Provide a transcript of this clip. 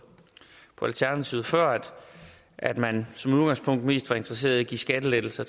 alternativet før at man som udgangspunkt er mest interesseret i at give skattelettelser